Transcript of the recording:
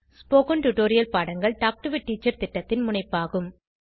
spoken tutorial பாடங்கள் talk to a teacher திட்டத்தின் முனைப்பாகும்